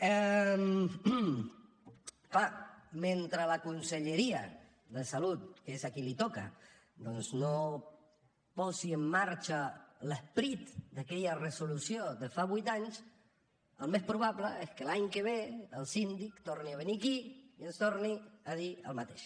és clar mentre la conselleria de salut que és a qui li toca doncs no posi en marxa l’esperit d’aquella resolució de fa vuit anys el més probable és que l’any que ve el síndic torni a venir aquí i ens torni a dir el mateix